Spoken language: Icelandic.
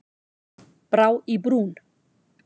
Brá í brún